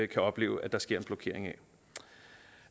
kan opleve at der sker en blokering